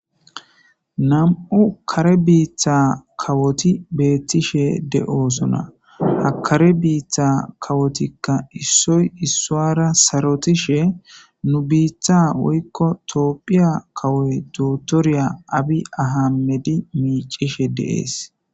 nam7u kare biitha kawoti beettishe de7osona hakare biitha kawotikka issoy issuara sarotishe nu biiththa woykko toophiya kawoy dootorya abi ahamedi miicishe deees